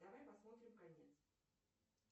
давай посмотрим конец